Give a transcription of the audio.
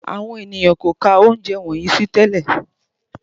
Àwọn ènìyàn kò kà ounjẹ wọnyii sí tẹ́lẹ̀